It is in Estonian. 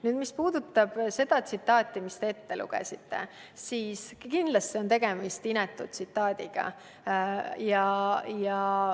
Nüüd, mis puudutab seda tsitaati, mille te ette lugesite, siis kindlasti on tegemist inetu tsitaadiga.